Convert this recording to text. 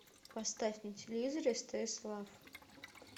поставь на телевизоре стс лав